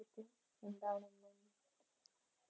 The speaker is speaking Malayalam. എന്താണെന്ന്